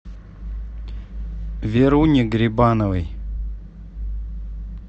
веруне грибановой